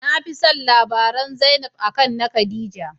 Nafi don labaran zainab, Akan na Khadijah.